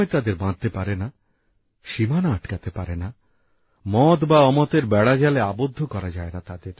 সময় তাদের বাঁধতে পারে না সীমানা আটকাতে পারে না তাদের মত বা অমতের বেড়াজালে আবদ্ধ করা যায়না